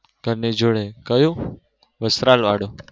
ઘર ની જોડે કયું? વસ્ત્રાલ વાળું.